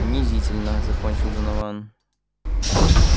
унизительно закончил донован